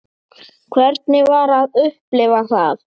Hvernig var að upplifa það?